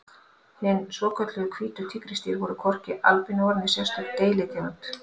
Hin svokölluðu hvítu tígrisdýr eru hvorki albinóar né sérstök deilitegund.